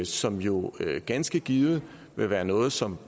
som jo ganske givet vil være noget som